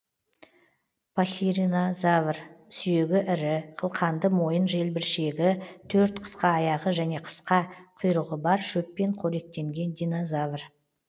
пахиринозавр сүйегі ірі қылқанды мойын желбіршегі төрт қысқа аяғы және қысқа құйрығы бар шөппен қоректенген динозавр